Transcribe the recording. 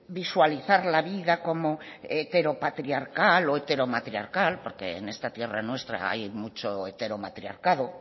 visualizar la vida como heteropatriarcal o heteromatriarcal porque en esta tierra nuestra hay mucho heteromatriarcado